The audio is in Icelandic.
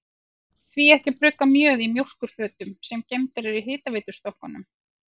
Því ekki að brugga mjöð í mjólkurfötum, sem geymdar eru í hitaveitustokkunum?